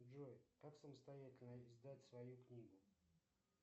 джой как самостоятельно издать свою книгу